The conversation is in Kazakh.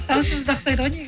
дауысымыз да ұқсайды ғой негізі